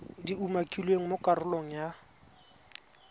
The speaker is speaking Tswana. di umakilweng mo karolong ya